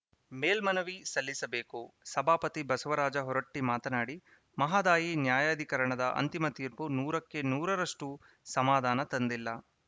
ಮೇಲ್ಮನವಿ ಸಲ್ಲಿಸಬೇಕು ಸಭಾಪತಿ ಬಸವರಾಜ ಹೊರಟ್ಟಿಮಾತನಾಡಿ ಮಹದಾಯಿ ನ್ಯಾಯಾಧಿಕರಣದ ಅಂತಿಮ ತೀರ್ಪು ನೂರಕ್ಕೆ ನೂರರಷ್ಟುಸಮಾಧಾನ ತಂದಿಲ್ಲ